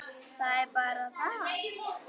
Það er bara það.